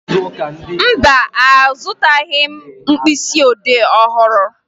Mba, azụtaghị m mkpịsịodee ọhụrụ